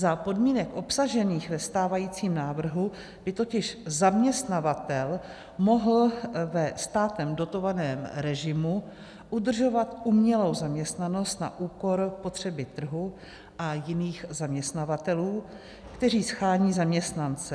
Za podmínek obsažených ve stávajícím návrhu by totiž zaměstnavatel mohl ve státem dotovaném režimu udržovat umělou zaměstnanost na úkor potřeby trhu a jiných zaměstnavatelů, kteří shání zaměstnance.